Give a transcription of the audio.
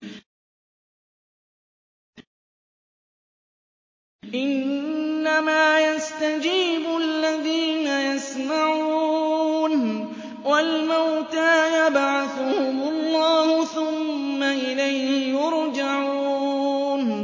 ۞ إِنَّمَا يَسْتَجِيبُ الَّذِينَ يَسْمَعُونَ ۘ وَالْمَوْتَىٰ يَبْعَثُهُمُ اللَّهُ ثُمَّ إِلَيْهِ يُرْجَعُونَ